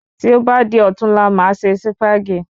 Tí o bá di ọ̀tunla, máa ṣe Sípàgì